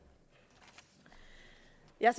jeg